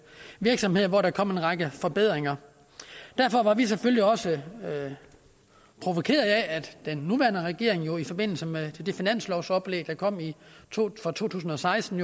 virksomheder hvor der kom en række forbedringer derfor var vi selvfølgelig også provokerede af at den nuværende regering i forbindelse med det finanslovsoplæg der kom for to tusind og seksten